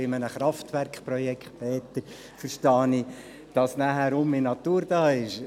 Bei einem Kraftwerkprojekt, Peter Flück, verstehe ich es so, dass dann wieder Natur vorhanden ist.